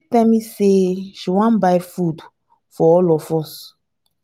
tell me say she wan buy food for all of us